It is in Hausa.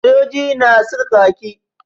Sojoji na saka kaki.